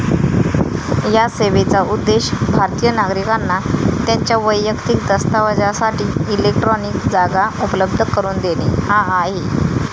या सेवेचा उद्देश भारतिय नागरिकांना त्यांच्या वैयक्तिक दस्तावजासाठी इलेक्ट्रॉनिक जागा उपलब्ध करून देणे हा आहे.